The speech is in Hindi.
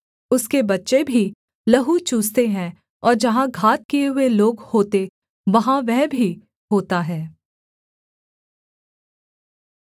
उसके बच्चे भी लहू चूसते हैं और जहाँ घात किए हुए लोग होते वहाँ वह भी होता है